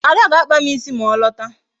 Ada ga-akpa m ịsị ma ọ lọta